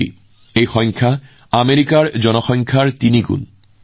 এই সংখ্যাটো কিমান ডাঙৰ জানেনে আমেৰিকাৰ মুঠ জনসংখ্যাৰ প্ৰায় তিনিগুণ